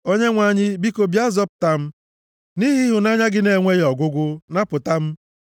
Onyenwe anyị, biko, bịa zọpụta m; nʼihi ịhụnanya gị na-enweghị ọgwụgwụ, napụta m.